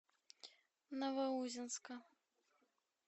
новоузенска